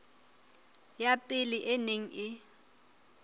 ya pele e neng e